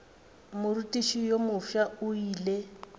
morutiši yo mofsa o ile